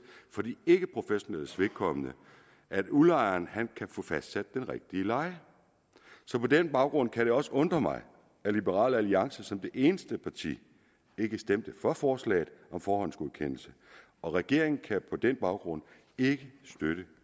for de ikkeprofessionelles vedkommende at udlejeren kan få fastsat den rigtige leje så på den baggrund kan det også undre mig at liberal alliance som det eneste parti ikke stemte for forslaget om forhåndsgodkendelse og regeringen kan på den baggrund ikke støtte